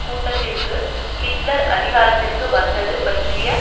கூட்டத்திற்கு ஹிட்லர் அதிகாரத்திற்கு வந்தது பற்றிய